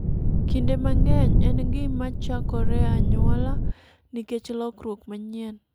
Kinde mang'eny, en gima chakore e anyuola nikech lokruok manyien.